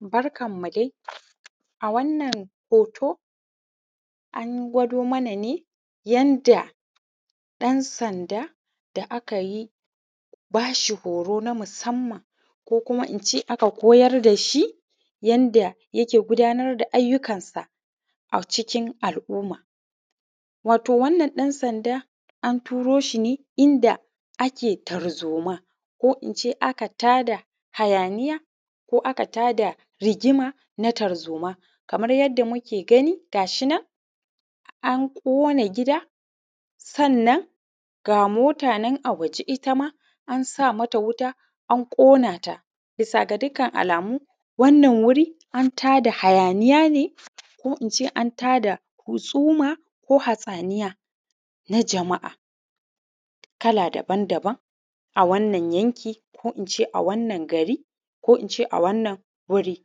Barkan mu dai. A wannan hoto an gwado mana ne yanda ɗan-sanda da aka yi bashi horo na musamman ko kuma in ce aka koyar da shi yanda yake gudanar da ayukan sa a cikin al’umma. Wato wannan ɗan-sanda a turo shine inda ake tarzoma ko in ce aka tada hayaniya ko aka tada rigima na tarzoma kaman yanda muke gani gashinan a ƙona gida sannan ga mota nan a waje ittama an sa mata wuta an ƙona ta, bisa ga dukkan alamu wannan guri an tada hayaniya ne, ko in ce an tada husuma, ko hatsaniya na jama’a kala daban-daban a wannan yanki, ko in ce a wannan gari ko in ce a wannan wuri.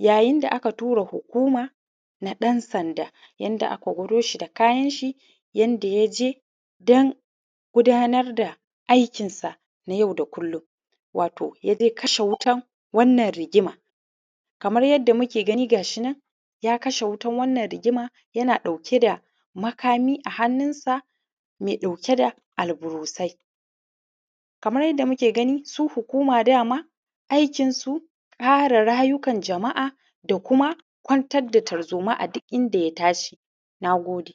Yayin da aka tura hukuma na ɗan-sanda yanda aka huroshi da kayan shi yanda ya je don gudanar da aikinsa na yau da kullum. Wato ya dai kashe wutan wannan rigima, kamar yadda muke gani gashi nan ya kashe wutan wannan rigima yana ɗauke da makami a hannunsa mai ɗauke da alburusai. Kamar yadda muke gani su hukuma dama aikinsu kare rayukan jama’a da kuma kwantar da tarzoma a duk inda ya tashi. Na gode.